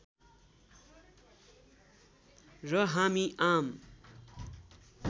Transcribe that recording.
र हामी आम